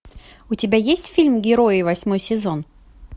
у тебя есть фильм герои восьмой сезон